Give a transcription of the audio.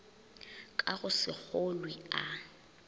ka go se kgolwe a